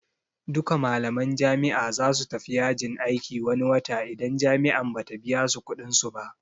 Duka malaman jami'a zasu tafi yajin aiki wani wata idan jami'an Bata biyasu kuɗin su ba